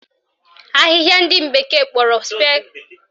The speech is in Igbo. Ahịhịa ndị bekee kpọrọ spear grass na-adụ ogwu